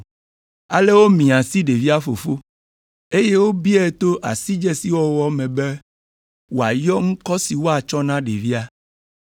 Ale womia asi ɖevia fofo, eye wobiae to asidzesiwɔwɔ me be wòayɔ ŋkɔ si woatsɔ na ɖevia.